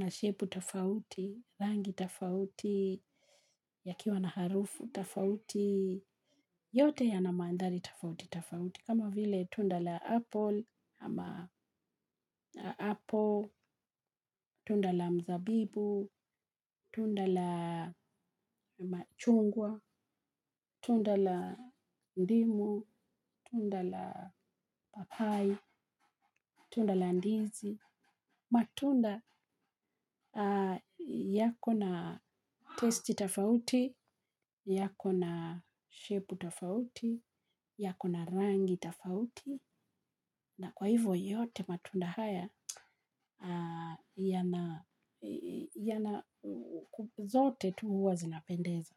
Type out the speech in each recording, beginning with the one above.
na shepu tafauti, rangi tafauti, yakiwa na harufu tafauti, yote ya na mandhari tafauti tafauti. Kama vile tunda la apple, tunda la mzabibu, tunda la machungwa, tunda la ndimu, tunda la papai, tunda la ndizi. Matunda yakona testi tafauti, yakona shepu tafauti, yakona rangi tafauti na kwa hivyo yote matunda haya zote tu huwa zinapendeza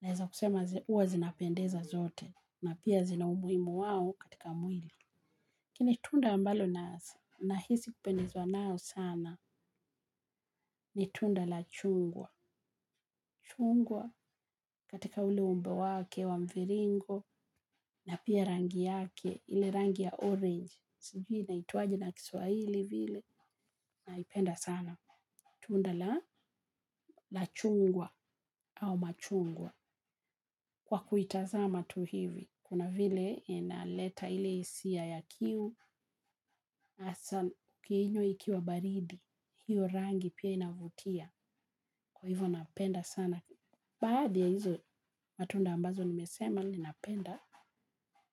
naeza kusema huwa zinapendeza zote na zina umuhimu wao katika mwili lakini tunda ambalo, nahisi kupendezwa nalo sana, ni tunda la chungwa, chungwa katika ule umbe wake wa mviringo, na pia rangi yake, ile rangi ya orange, sijui inaitwaje na kiswaili vile, naipenda sana, tunda chungwa ama machungwa kwa kuitazama tu kuna vile inaleta ile hisia ya kiu hasa ukiingwa ikiwa baridi kuna vile pia inavutia. Kwa hivo napenda sana, baadhi ya hizo matunda ambazo nimesema ninapenda,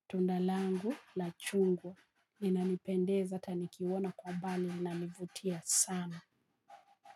tunda langu la chungwa, linalipendeza, ata nikiona kwa umbali linalivutia sana.